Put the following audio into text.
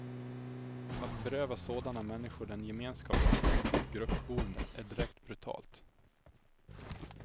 Att beröva sådana människor den gemenskap som finns i ett gruppboende är direkt brutalt.